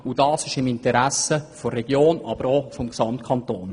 Dies liegt im Interesse der Region, aber auch des Gesamtkantons.